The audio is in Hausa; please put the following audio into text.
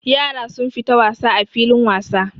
Yara sun fita wasa a filin wasa.